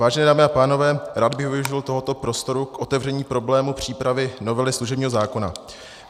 Vážené dámy a pánové, rád bych využil tohoto prostoru k otevření problému přípravy novely služebního zákona.